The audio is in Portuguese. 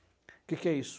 O que que é isso?